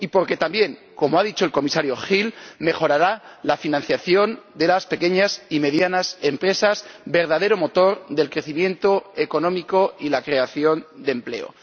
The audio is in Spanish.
Y porque también, como ha dicho el Comisario Hill, mejorará la financiación de las pequeñas y medianas empresas, verdadero motor del crecimiento económico y la creación de empleo.